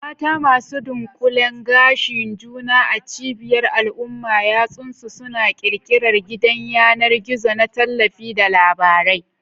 Mata sun dunƙule gashin juna a cibiyar al'umma, yatsunsu suna ƙirƙirar gidan yanar gizo na tallafi da labarai.